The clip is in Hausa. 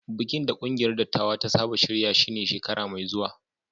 Bikin da kungiyar dattawa ta saba shirya shi ne shekara mai zuwa